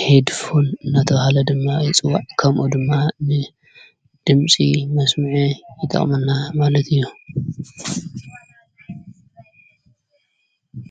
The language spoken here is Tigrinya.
ሄድፎን ናታ ሃለ ድማ ይጽዋዕ ካምኡ ድማ ም ድምፂ መስሙዐ ይጠቕመና ማለት እዩ።